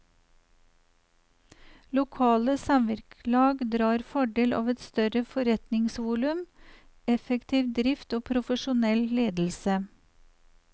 Lokale samvirkelag drar fordel av et større forretningsvolum, effektiv drift og profesjonell ledelse.